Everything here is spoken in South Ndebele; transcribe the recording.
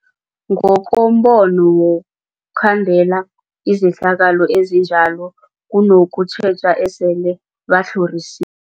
Ngokombono wokhandela izehlakalo ezinjalo kunokutjheja esele batlhorisi